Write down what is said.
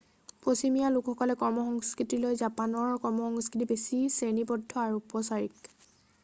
পশ্চিমীয়া লোকসকলৰ কৰ্মসংস্কৃতিতকৈ জাপানৰ কৰ্মসংস্কৃতি বেছি শ্ৰেণীবদ্ধ আৰু উপচাৰিক